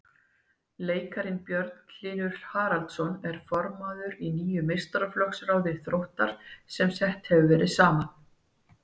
Leikarinn Björn Hlynur Haraldsson er formaður í nýju meistaraflokksráði Þróttar sem sett hefur verið saman.